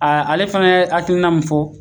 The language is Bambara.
A ale fana ye hakilina mun fɔ